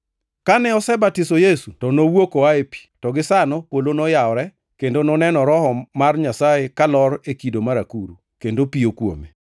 Kane osebatiso Yesu to nowuok oa ei pi. To gisano polo noyawore kendo noneno Roho mar Nyasaye kalor e kido mar akuru, kendo piyo kuome.